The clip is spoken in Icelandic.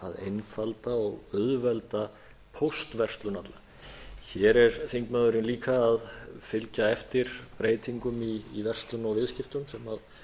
einfalda og auðvelda póstverslun alla hér er þingmaðurinn líka að fylgja eftir breytingum í verslun og viðskiptum sem orðið